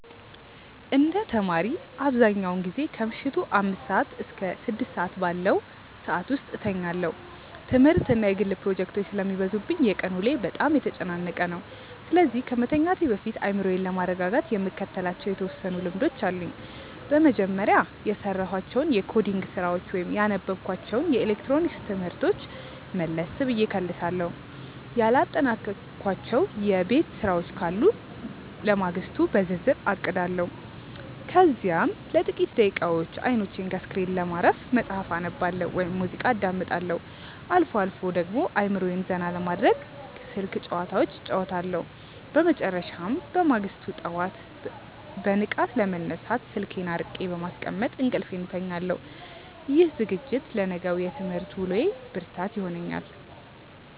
እንደ ተማሪ፣ አብዛኛውን ጊዜ ከምሽቱ አምስት እስከ ስድስት ባለው ሰዓት ውስጥ እተኛለሁ። ትምህርትና የግል ፕሮጀክቶች ስለሚበዙብኝ የቀን ውሎዬ በጣም የተጨናነቀ ነው፤ ስለዚህ ከመተኛቴ በፊት አእምሮዬን ለማረጋጋት የምከተላቸው የተወሰኑ ልምዶች አሉኝ። በመጀመሪያ፣ የሰራኋቸውን የኮዲንግ ስራዎች ወይም ያነበብኳቸውን የኤሌክትሮኒክስ ትምህርቶች መለስ ብዬ እከልሳለሁ። ያላጠናቀቅኳቸው የቤት ስራዎች ካሉ ለማግስቱ በዝርዝር አቅዳለሁ። ከዚያም ለጥቂት ደቂቃዎች አይኖቼን ከስክሪን ለማረፍ መጽሐፍ አነባለሁ ወይም ሙዚቃ አዳምጣለሁ። አልፎ አልፎ ደግሞ አእምሮዬን ዘና ለማድረግ ስልክ ጭዋታዎች እጫወታለሁ። በመጨረሻም፣ በማግስቱ ጠዋት በንቃት ለመነሳት ስልኬን አርቄ በማስቀመጥ እንቅልፌን እተኛለሁ። ይህ ዝግጅት ለነገው የትምህርት ውሎዬ ብርታት ይሆነኛል።